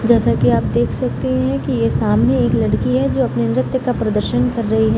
जैसे की आप देख सकते हैं की सामने एक लड़की है जो अपने नृत्य का प्रदर्शन कर रही है।